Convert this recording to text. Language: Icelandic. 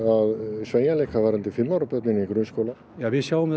sveigjanleika varðandi fimm ára börn inn í grunnskóla við sjáum þetta